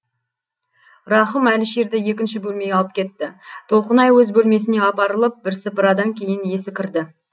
рақым әлішерді екінші бөлмеге алып кетті толқынай өз бөлмесіне апарылып бірсыпырадан кейін есі кірді